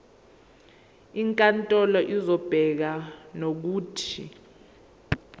inkantolo izobeka nokuthi